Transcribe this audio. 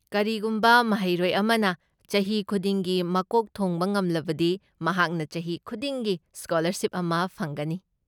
ꯀꯔꯤꯒꯨꯝꯕ ꯃꯍꯩꯔꯣꯏ ꯑꯃꯅ ꯆꯍꯤ ꯈꯨꯗꯤꯡꯒꯤ ꯃꯀꯣꯛ ꯊꯣꯡꯕ ꯉꯝꯂꯕꯗꯤ, ꯃꯍꯥꯛꯅ ꯆꯍꯤ ꯈꯨꯗꯤꯡꯒꯤ ꯁ꯭ꯀꯣꯂꯔꯁꯤꯞ ꯑꯃ ꯐꯪꯒꯅꯤ꯫